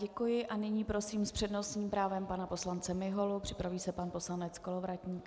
Děkuji a nyní prosím s přednostním právem pana poslance Miholu, připraví se pan poslanec Kolovratník.